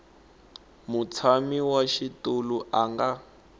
mutshami wa xitulu a nga